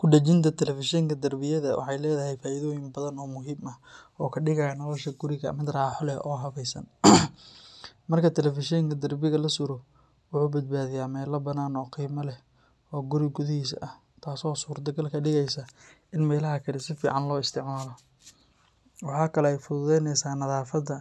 Kudajinta telefishenka darbiyada waxay leedahay faa’iidooyin badan oo muhiim ah oo ka dhigaya nolosha guriga mid raaxo leh oo habaysan. Marka telefishenka darbiga la suro, wuxuu badbaadiyaa meel bannaan oo qiimo leh oo guri gudihiisa ah, taasoo suurtogal ka dhigaysa in meelaha kale si fiican loo isticmaalo. Waxa kale oo ay fududaynaysaa nadaafadda